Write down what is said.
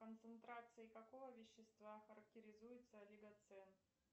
концентрацией какого вещества характеризуется олигоцен